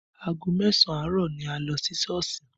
Aago mẹ́sàn àárọ̀ ni a lọ sí Sọ́ọ̀sì